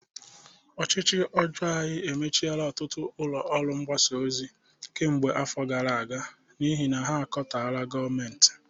Ọchịchị ọjọọ anyị emechiela ọtụtụ ụlọ ọrụ mgbasa ozi kemgbe afọ gara aga n'ihi na ha katọrọ gọọmentị